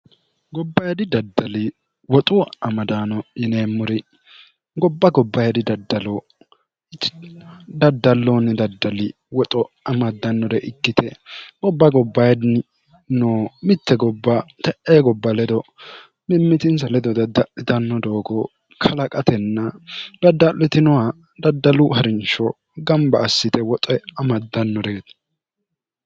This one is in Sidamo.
gobbayidi daddali woxu amadaano yineemmuri gobba gobbayidi daddalloonni daddali woxo amaddannore ikkite gobba gobbayidi no mitte gobba te'e gobba ledo mimmitinsa ledo dadda'litanno doogo kalaqatenna dadda'litinoha daddalu harinsho gamba assite woxe amaddannoreeti